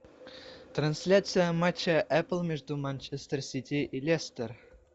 трансляция матча апл между манчестер сити и лестер